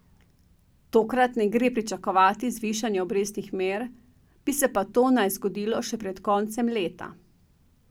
Tokrat ne gre pričakovati zvišanja obrestnih mer, bi se pa to naj zgodilo še pred koncem leta.